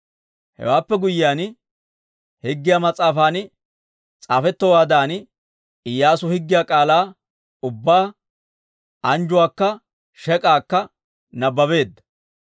Hewaappe guyyiyaan Higgiyaa mas'aafan s'aafetowaadan, Iyyaasu higgiyaa k'aalaa ubbaa, anjjuwaakka shek'aakka nabbabeedda.